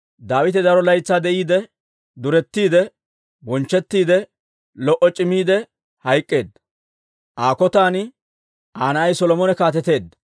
Daawite daro laytsaa de'iide, durettiide, bonchchettiide, lo"o c'imiide hayk'k'eedda. Aa kotan Aa na'ay Solomone kaateteedda.